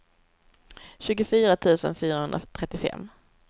tjugofyra tusen fyrahundratrettiofem